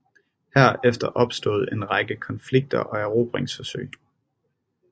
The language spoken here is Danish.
Herefter opstod en række konflikter og erobringsforsøg